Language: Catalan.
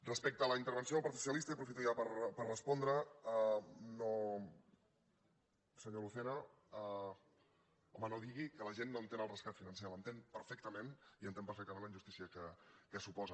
respecte a la intervenció del partit socialista i aprofito ja per respondre senyor lucena home no digui que la gent no entén el rescat financer l’entén perfectament i entén perfectament la injustícia que suposa